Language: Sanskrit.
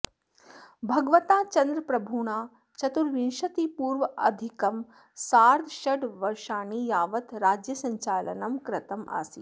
भगवता चन्द्रप्रभुणा चतुर्विंशतिपूर्वाङ्गाधिकं सार्धषड्वर्षाणि यावत् राज्यसञ्चालनम् कृतम् आसीत्